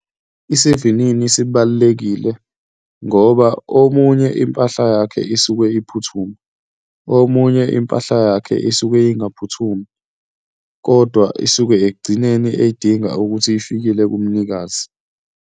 Isivinini sibalulekile ngoba omunye impahla yakhe isuke iphuthuma, omunye impahla yakhe isuke ingaphuthumi, kodwa isuke ekugcineni ey'dinga ukuthi ifikile kumnikazi.